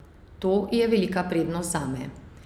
To je velika prednost zame.